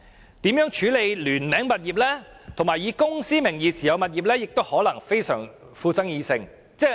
此外，如何處理聯名物業，以及以公司名義持有物業亦可能極具爭議。